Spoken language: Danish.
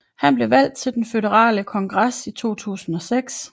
Han blev valgt til den føderale kongres i 2006